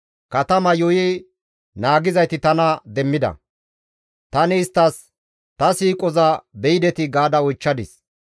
Katama yuuyi naagizayti tana demmida; tani isttas, ‹Ta siiqoza beyidetii?› gaada oychchadis.